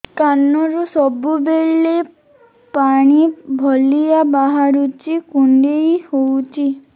କାନରୁ ସବୁବେଳେ ପାଣି ଭଳିଆ ବାହାରୁଚି କୁଣ୍ଡେଇ ହଉଚି